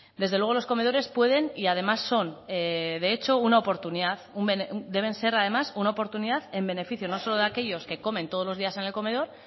desde luego los comedores pueden y además son de hecho una oportunidad deben ser además una oportunidad en beneficio no solo de aquellos que comen todos los días en el comedor